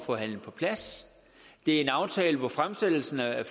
forhandlet på plads det er en aftale hvor fremsættelsen af